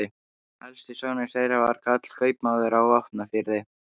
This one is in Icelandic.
Elsti sonur þeirra var Karl, kaupmaður á Vopnafirði.